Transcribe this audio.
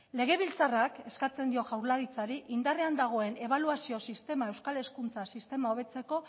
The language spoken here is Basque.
legebiltzarrak eskatzen dio jaurlaritzari indarrean dagoen ebaluazio sistema euskal hezkuntza sistema hobetzeko